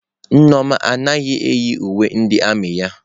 Nneoma anaghị eyi uwe ndị armiị ya.